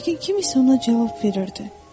Yəqin kim isə ona cavab verirdi.